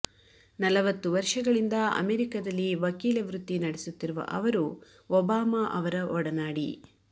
ನಲವತ್ತು ವರ್ಷಗಳಿಂದ ಅಮೆರಿಕದಲ್ಲಿ ವಕೀಲ ವೃತ್ತಿ ನಡೆಸುತ್ತಿರುವ ಅವರು ಒಬಾಮಾ ಅವರ ಒಡನಾಡಿ